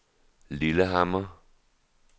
Lillehammer